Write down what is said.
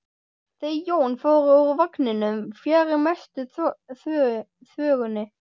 Þau Jón fóru úr vagninum fjarri mestu þvögunni.